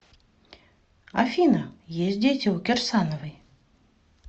афина есть дети у кирсановой